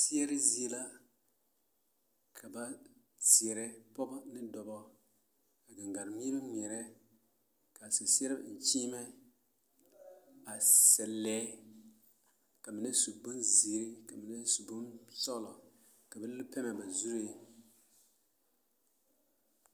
Seɛre zie la ka ba seɛrɛ pɔɡebɔ ne dɔbɔ ka ɡaŋɡaŋmeɛrebɛ ŋmeɛrɛ ka seɛseɛrebɛ eŋ kyeemɛ a sɛ lɛɛ ka mine su bonziiri ka mine su bonsɔɡelɔ ka ba le pɛmmɛ ba zuree.